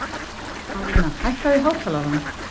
Marína, hækkaðu í hátalaranum.